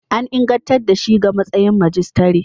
An ingantar da shi ga matsayin majistare.